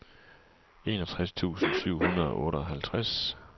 enogtres tusind syv hundrede og otteoghalvtreds